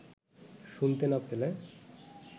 শুনতে না পেলে